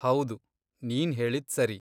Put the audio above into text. ಹೌದು, ನೀನ್ ಹೇಳಿದ್ಸರಿ.